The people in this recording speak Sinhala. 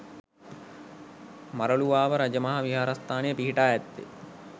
මරළුවාව රජ මහා විහාරස්ථානය පිහිටා ඇත්තේ